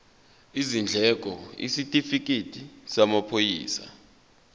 izindleko isitifikedi samaphoyisa